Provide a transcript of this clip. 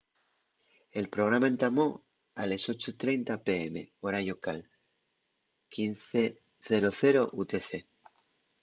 el programa entamó a les 8:30 p.m. hora llocal 15.00 utc